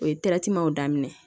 O ye daminɛ